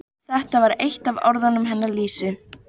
Þú hefur verið að hugsa um það líka, sagði hún.